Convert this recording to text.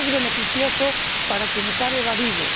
Es beneficioso para quienes han evadido